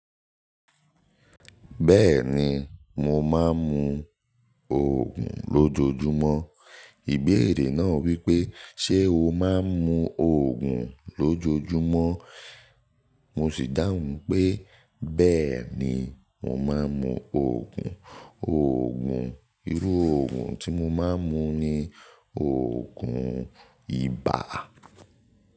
"Bẹ́ẹ̀ni, mo máa ń mu Ògùn lójojúmọ́." Ìbéèrè náà wípé: "Ṣé o máa ń mu Ògùn lójojúmọ́?" Mo sì dáhùn pé, "Bẹ́ẹ̀ni, mo máa ń mu Ògùn." Ògùn, irú Ògùn tí mo máa ń mu ni Ògùn ibà.